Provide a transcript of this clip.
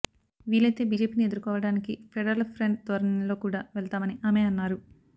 వీలైతే బీజేపీని ఎదుర్కోవడానికి ఫెడరల్ ఫ్రంట్ ధోరణిలో కూడా వెళ్తామని ఆమె అన్నారు